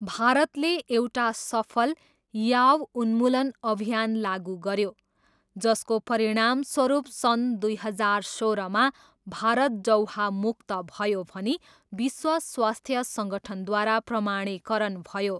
भारतले एउटा सफल याव उन्मूलन अभियान लागु गऱ्यो जसको परिणामस्वरुप सन् दुई हजार सोह्रमा भारत जौहामुक्त भयो भनी विश्व स्वास्थ्य सङ्गठनद्वारा प्रमाणीकरण भयो।